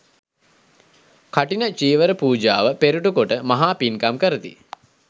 කඨින චීවර පූජාව පෙරටුකොට මහ පින්කම් කරති.